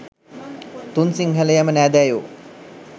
තුන් සින්හලයම නෑදෑයෝ